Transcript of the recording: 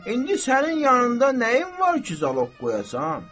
İndi sənin yanında nəyin var ki, zaloq qoyasan?